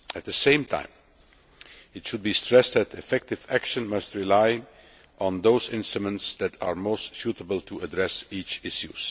At the same time, it should be stressed that effective action must rely on those instruments that are most suitable to address each issue.